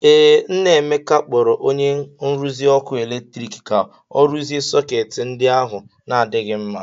Ee, nna Emeka kpọrọ onye nrụzi ọkụ eletrik ka o rụzie sọketị ndi ahụ na adịghị mma.